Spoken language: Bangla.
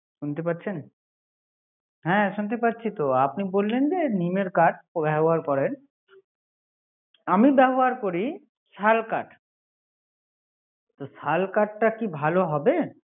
শুনতে পারছেন হ্যা শুনতে পারছিতো, আপনি বললেন যে নিমের কাঠ ব্যবহার করেন আমি ব্যবহার করি শাল কাঠ তো শাল কাঠটা কি ভালো হবে?